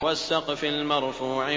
وَالسَّقْفِ الْمَرْفُوعِ